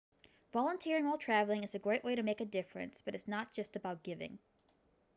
volunteering while travelling is a great way to make a difference but it's not just about giving